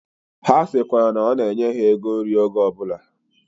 Ha sikwara na ona enye ha ego nri oge obula